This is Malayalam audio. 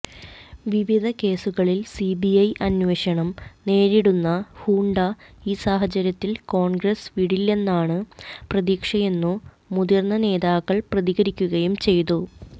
വിവിധ കേസുകളിൽ സിബിഐ അന്വേഷണം നേരിടുന്ന ഹൂഡ ഈ സാഹചര്യത്തിൽ കോൺഗ്രസ് വിടില്ലെന്നാണു പ്രതീക്ഷയെന്നു മുതിർന്ന നേതാക്കൾ പ്രതികരിക്കുകയും ചെയ്തു